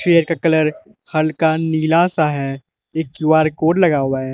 Chair का colour हल्का नीला सा है एक क्यू_आर कोड लगा हुआ है।